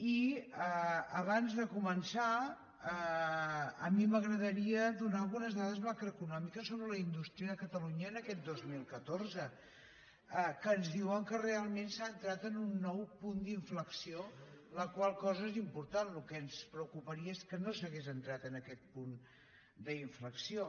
i abans de començar a mi m’agradaria donar algunes dades macroeconòmiques sobre la indústria de catalunya en aquest dos mil catorze que ens diuen que realment s’ha entrat en un nou punt d’inflexió la qual cosa és important el que ens preocuparia és que no s’hagués entrat en aquest punt d’inflexió